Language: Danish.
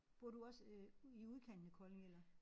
Bor du også øh ud i udkanten af Kolding eller